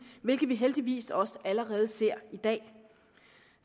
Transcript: hvilket vi heldigvis også allerede ser i dag